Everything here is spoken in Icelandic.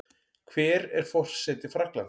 Hver er forseti Frakklands?